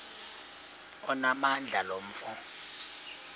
onamandla lo mfo